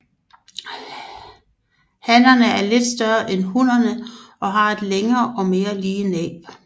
Hannerne er lidt større end hunnerne og har et længere og mere lige næb